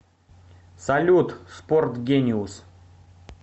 салют спорт гениус